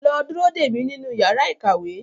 Lọ dúró dè mí nínú yàrá ìkàwé!